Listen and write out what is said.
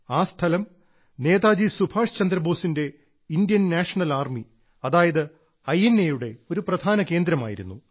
ആ സ്ഥലം നേതാജി സുഭാഷ് ചന്ദ്രബോസിന്റെ ഇന്ത്യൻ നാഷണൽ ആർമി അതായത് ഐ എൻ എയുടെ ഒരു പ്രധാന കേന്ദ്രമായിരുന്നു